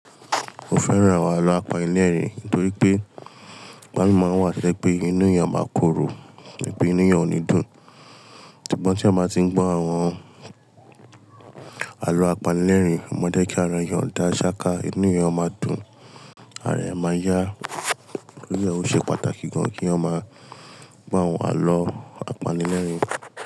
Mo fẹ́ran àwọn àlọ́ àpanilẹ́rìn nítorí pé ìgbami máa ń wà to ye pé inú èèyàn máa korò, to ye pé inú èèyàn ò ní dùn. Ṣùgbọ́n tí èèyàn máa ti ń gbọ́ àwọn àlọ́ àpanilẹ́rìn, ó máa dẹ́kìí ara èèyàn dá ṣááká, inú èèyàn máa dún ara èèyàn máa yá. Torí e ó ṣe pàtàkì gan kí èèyàn máa gbọ àwọn àlọ́ àpanilẹ́rìn.